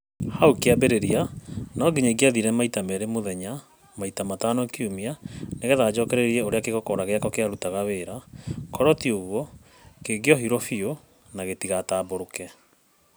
Hau kĩambĩrĩria no nginya ingiathire maita merĩ mũthenya maita matano kiumia nĩgetha njokererie ũrĩa kĩgokora gĩakwa kĩarutaga wĩra, korũo ti ũguo kĩngiohirwo biũ na gĩtigatambũrũke.